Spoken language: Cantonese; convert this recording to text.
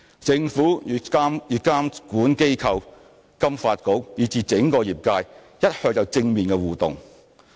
政府與監管機構、金發局，以至整個業界一向有正面的互動。